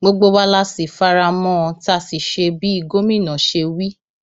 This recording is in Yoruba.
gbogbo wa la sì fara mọ ọn tá a sì ṣe bí gómìnà ṣe wí